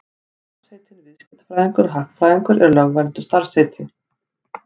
Starfsheitin viðskiptafræðingur og hagfræðingur eru lögvernduð starfsheiti.